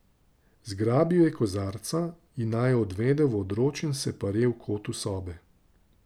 Zgrabil je kozarca in naju odvedel v odročen separe v kotu sobe.